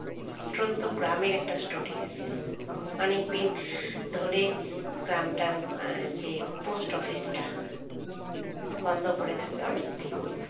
প্রত্যন্ত গ্রামের একটা story আছে। অনেকদিন ধরে গ্রামটার উম যে post office টা বন্ধ পড়ে থাকে অনেকদিন